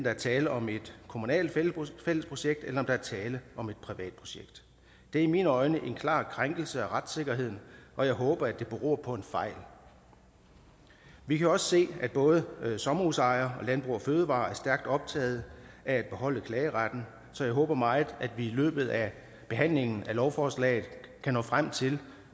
er tale om et kommunalt fællesprojekt eller om der er tale om et privat projekt det er i mine øjne en klar krænkelse af retssikkerheden og jeg håber at det beror på en fejl vi kan også se at både sommerhusejere og landbrug fødevarer er stærkt optaget af at beholde klageretten så jeg håber meget at vi i løbet af behandlingen af lovforslaget kan nå frem til